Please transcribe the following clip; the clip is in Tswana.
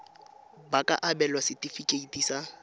ba ka abelwa setefikeiti sa